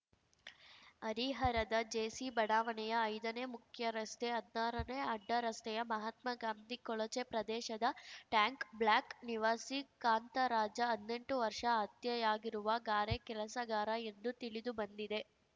ಹರಿಹರದ ಜೆಸಿಬಡಾವಣೆಯ ಐದನೇ ಮುಖ್ಯರಸ್ತೆ ಹದ್ನಾರನೇ ಅಡ್ಡ ರಸ್ತೆಯ ಮಹಾತ್ಮ ಗಾಂಧಿ ಕೊಳಚೆ ಪ್ರದೇಶದ ಟ್ಯಾಂಕ್‌ ಬ್ಲಾಕ್‌ ನಿವಾಸಿ ಕಾಂತರಾಜಹದ್ನೆಂಟು ವರ್ಷ ಹತ್ಯೆಯಾಗಿರುವ ಗಾರೆ ಕೆಲಸಗಾರ ಎಂದು ತಿಳಿದು ಬಂದಿದೆ